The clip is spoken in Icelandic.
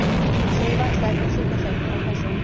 Segi varlega eftir stutta þögn: Og hvað svo?